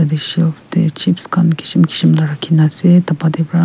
ea shop teh chips khan kisim kisim rakhi kena ase ta pate pra.